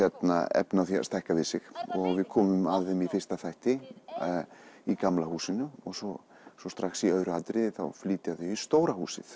efni á að stækka við sig og við komum að þeim í fyrsta þætti í gamla húsinu og svo svo strax í öðru atriði þá flytja þau í stóra húsið